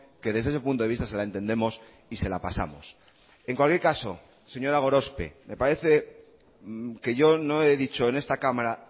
que desde ese punto de vista se la entendemos y se la pasamos en cualquier caso señora gorospe me parece que yo no he dicho en esta cámara